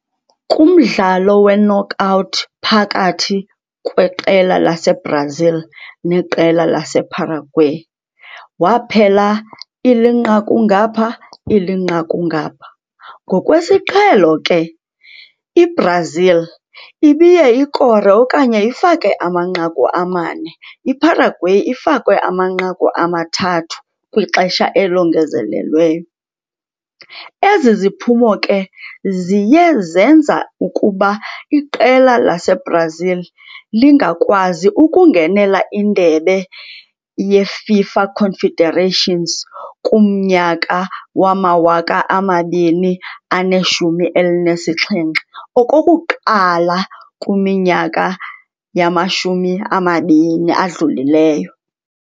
Kumdlalo we-knockout phakathi kweqela lase-Brazil neqela lase-Paraguay waphela ilinqaku ngaphaa, ilinqaku ngaphaa. Ngokwesiqhelo ke i-Brazil ibiye ikore okanye ifake amanqaku amane, i-Paraguay ifake amanqaku amathathu kwixesha elongezelelweyo. Ezi ziphumo ke ziye zenza ukuba iqela lase-Brazil lingakwazi ukungenela indebe ye-FIFA Confederations kumnyaka wama-2017 okokuqala kwiminyaka yamashumi amabini adlulileyo.